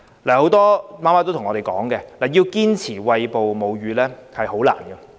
很多母親向我們反映，要堅持餵哺母乳十分困難。